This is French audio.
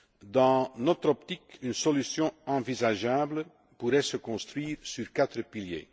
Dans notre optique, une solution envisageable pourrait se construire sur quatre piliers.